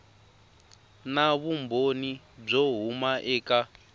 na vumbhoni byo huma eka